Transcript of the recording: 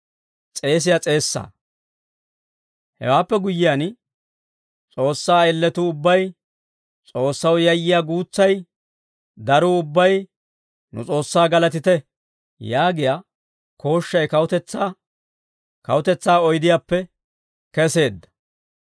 Hewaappe guyyiyaan, «S'oossaa ayilatuu ubbay, S'oossaw yayyiyaa guutsay, daruu ubbay nu S'oossaa galatite» yaagiyaa kooshshay kawutetsaa oydiyaappe keseedda.